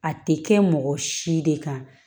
A tɛ kɛ mɔgɔ si de kan